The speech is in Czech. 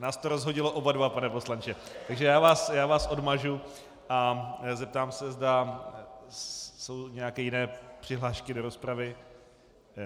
Nás to rozhodilo oba dva, pane poslanče, takže já vás odmažu a zeptám se, zda jsou nějaké jiné přihlášky do rozpravy.